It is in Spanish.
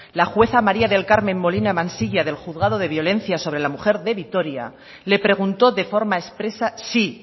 la jueza maría del carmen molina mansilla del juzgado de violencia sobre la mujer de vitoria le preguntó de forma expresa si